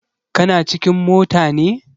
Kana cikin mota ne?